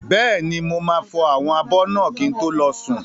Bẹ́ẹ̀ni, mo máa fọ àwọn abọ́ náà kí n tó lọ sùn.